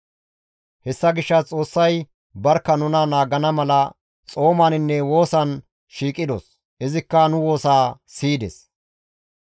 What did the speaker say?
Hessa gishshas Xoossay barkka nuna naagana mala xoomaninne woosan shiiqidos; izikka nu woosaa siyides.